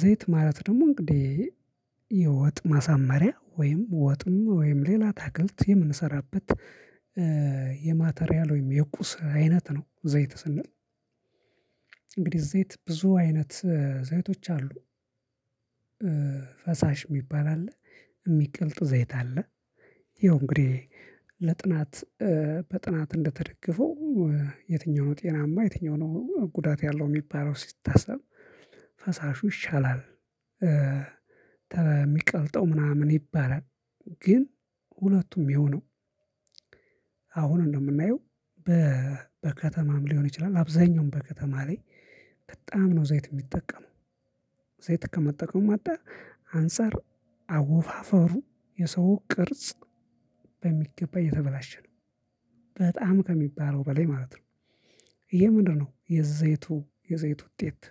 ዘይት ማለት ደግሞ እንግዲህ የወጥ ማሳመሪያ ወይም ወጥም ወይም ሌላ አታክልት የምንሰራበት የማቴሪያል ወይም የቁስ አይነት ነው። ዘይት ስንል እንግዲህ ዘይት ብዙ አይነት ዘይቶች አሉ። ፈሳሽ የሚባል አለ። የሚቀልጥ ዘይት አለ። ይኸው እንግዲህ ለጥናት በጥናት እንደተደገፈው የትኛው ነው ጤናማ የትኛው ነው ጉዳት ያለው የሚባለው ሲታሰብ ፈሳሹ ይሻላል። ተሚቀልጠው ምናምን ይባላል። ግን ሁለቱም ያውነው አሁን እንደምናየው በከተማም ሊሆን ይችላል አብዛኛውን በከተማ ላይ በጣም ነው ዘይት የሚጠቀመው ዘይት ከመጠቀም አንጣር አንፃር አወፋፈሩ የሰው ቅርጽ በሚገባ የተበላሸ ነው። በጣም ከሚባለው በላይ ማለት ነው። ይሄ ምንድነው? የዘይቱ የዘይቱ ውጤት።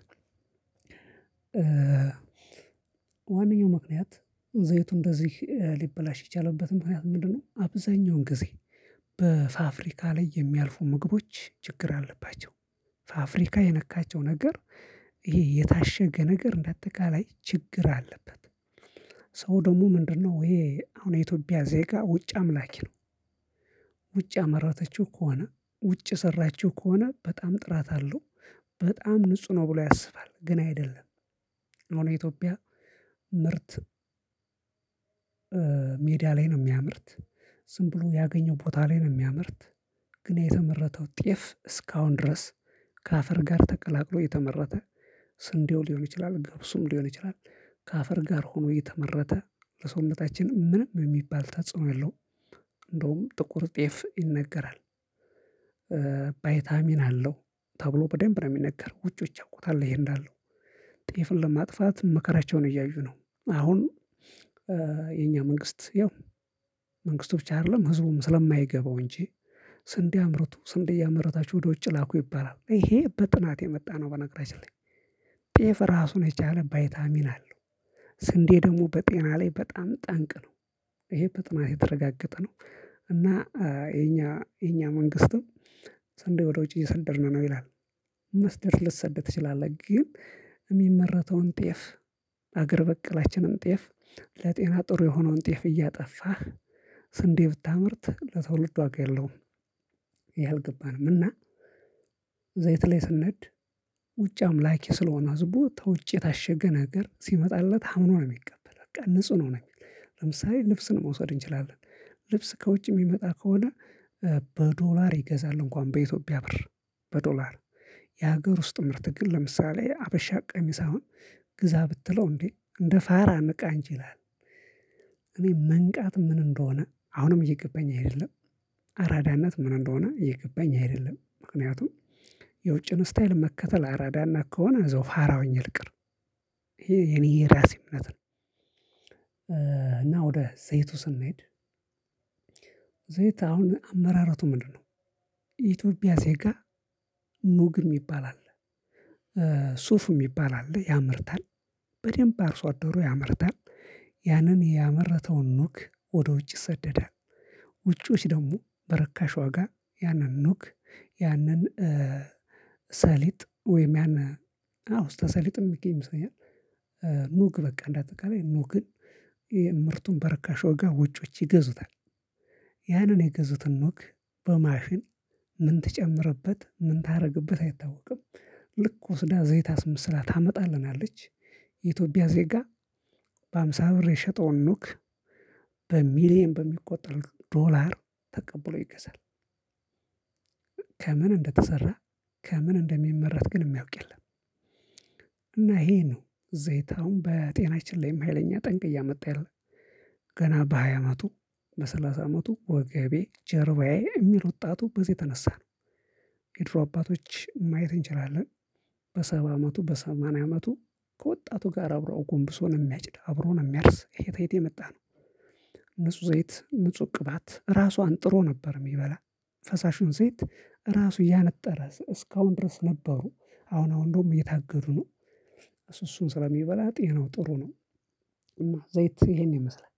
ዋነኛው ምክንያት ዘይቱ እንደዚህ ሊበላሽ የቻለበት ምክንያት ምንድነው? አብዛኛውን ጊዜ በፋብሪካ ላይ የሚያልፉ ምግቦች ችግር አለባቸው። ፋብሪካ የነካቸው ነገር ይሄ የታሸገ ነገር እንደ አጠቃላይ ችግር አለበት። ሰው ደግሞ ምንድነው ይሄ አሁን የኢትዮጵያ ዜጋ ውጭ አምላኪ ነው። ውጭ ያመረተችው ከሆነ ውጭ የሰራችው ከሆነ በጣም ጥራት አለው በጣም ንጹህ ነው ብሎ ያስባል ግን አይደለም። አሁን የኢትዮጵያ ምርት ሜዳ ላይ ነው የሚያመርት ዝም ብሎ ያገኘው ቦታ ላይ ነው የሚያመርት። ግን የተመረተው ጤፍ እስካሁን ድረስ ከአፈር ጋር ተቀላቅሎ የተመረተ ስንዴው ሊሆን ይችላል ገብሱም ሊሆን ይችላል ከአፈር ጋር ሆኖ የተመረተ ለሰውነታችንም ምንም የሚባል ተጽዕኖ የለውም። እንደውም ጥቁር ጤፍ ይነገራል። ባይታሚን አለው ተብሎ በደንብ ነው የሚነገር ውጪዎች ያውቁታል ይሄ እንዳለው ጤፍን ለማጥፋት መከራቸውን እያዩ ነው። አሁን የኛ መንግስት ያው መንግስቱ ብቻ አይደለም ህዝቡም ስለማይገባው እንጂ ስንዴ አምርቶ ስንዴ እያመረታችሁ ወደ ውጭ ላኩ ይባላል ይሄ በጥናት የመጣ ነው። በነገራችን ላይ ጤፍ ራሱን ነው የቻለ ባይታሚን አለው። ስንዴ ደግሞ በጤና ላይ በጣም ጠንቅ ነው። ይሄ በጥናት የተረጋገጠ ነው። እና የኛ የኛ መንግስትም ሰንዴ ወደ ውጭ እየሰደድን ነው ይላል። መስደድ ልትሰድ ትችላለህ ግን የሚመረተውን ጤፍ አገር በቀላችንን ጤፍ ለጤና ጥሩ የሆነውን ጤፍ እያጠፋህ ስንዴ ብታመርት ለትውልድ ዋጋ የለውም። ይሄ አልገባንም። እና ዘይት ላይ ስንሄድ ውጪ አምላኪ ስለሆነ ህዝቡ ተውጪ የታሸገ ነገር ሲመጣለት አምኖ ነው የሚቀበለው በቃ ንጹህ ነው የሚል የሚለው ለምሳሌ ልብስን መውሰድ እንችላለን ልብስ ከውጭ የሚመጣ ከሆነ በዶላር ይገዛል እንኳን በኢትዮጵያ ብር በዶላር የሀገር ውስጥ ምርት ግን ለምሳሌ ሀበሻ ቀሚስ አሁን ግዛ ብትለው እንዴ እንደ ፋራ ንቃ እንጂ ይላል እኔ መንቃት ምን እንደሆነ አሁንም እየገባኝ አይደለም። አራዳነት ምን እንደሆነ እየገባኝ አይደለም ምክንያቱም የውጭን ስታይል መከተል አራዳነት ከሆነ እዛው ፋራ ሆኜ ልቅር። ይሄ የኔ የራሴ እምነት ነው። እና ወደ ዘይቱ ስንሄድ ዘይት አሁን አመራረቱ ምንድነው? የኢትዮጽያ ዜጋ ኑግ የሚባል አለ። ሱፍ የሚባል አለ ያመርታል በደንብ አርሶ አደሩ ያመርታል ያንን ያመረተውን ኑግ ወደ ውጭ ይሰደዳል። ውጪዎች ደግሞ በርካሽ ዋጋ ያንን ኑግ ያንን ሰሊጥ ወይም ያን አዎ ተሰሊጥም ይገኝ መሰለኝ አ ኑግ በቃ እንደ አጠቃላይ ኑግን ምርቱን በርካሽ ዋጋ ውጮች ይገዙታል። ያንን የገዙትን ኑግ በማሽን ምን ትጨምርበት ምን ታደርግበት አይታወቅም። ልክ ወስዳ ዘይት አስመስላ ታመጣልናለች። የኢትዮጵያ ዜጋ በሃምሳ ብር የሸጠውን ኑግ በሚሊየን በሚቆጠር ዶላር ተቀብሎ ይገዛል። ከምን እንደተሰራ ከምን እንደሚመረት ግን የሚያውቅ የለም። እና ይሄ ነው ዘይት አሁን በጤናችን ላይም ሀይለኛ ጠንቅ እያመጣ ያለ ገና በሃያ አመቱ በሰላሳ አመቱ ወገቤ ጀርባዬ የሚል ወጣቱ በዚህ የተነሳ ነው። የድሮ አባቶች ማየት እንችላለን። በሰባ አመቱ በሰማንያ አመቱ ከወጣቱ ጋር አብሮ አጎንብሶ ነው የሚያጭደው አብሮ ነው የሚያርስ እሄ ተየት የመጣ ነው። ንጹህ ዘይት ንጹህ ቅባት ራሱ አንጥሮ ነበር የሚበላ ፈሳሹን ዘይት ራሱ እያነጠረ እስካሁን ድረስ ነበሩ አሁን አሁን እንደውም እየታገዱ ነው። እሱ እሱን ስለሚበላ ጤናው ጥሩ ነው። እና ዘይት ይሄን ይመስላል